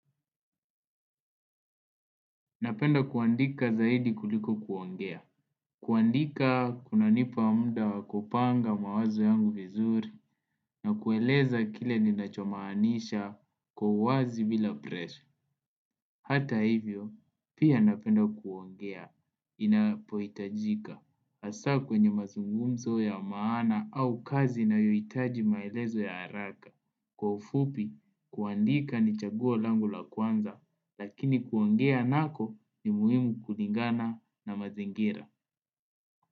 Napenda kuandika zaidi kuliko kuongea. Kuandika kunanipa muda wa kupanga mawazo yangu vizuri na kueleza kile ninacho maanisha kwa uwazi bila presha. Hata hivyo, pia napenda kuongea inapoitajika. Asa kwenye mazungumzo ya maana au kazi inayohitaji maelezo ya haraka. Kwa ufupi, kuandika ni chaguo langu la kwanza, lakini kuongea nako ni muhimu kulingana na mazingira.